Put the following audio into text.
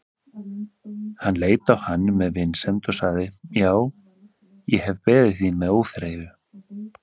Hann leit á hann með vinsemd og sagði:-Já, ég hef beðið þín með óþreyju.